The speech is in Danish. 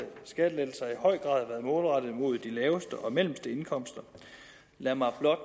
skattelettelser har i høj grad været målrettet mod de laveste og mellemste indkomster lad mig blot